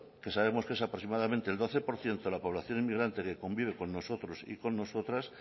que sabemos qué es aproximadamente doce por ciento de la población inmigrante que convive con nosotros y con nosotras